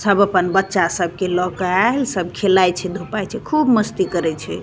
सब अपन बच्चा सब के लोकाएल सब खेलय छे घुमई छे खुब मस्ती करय छे।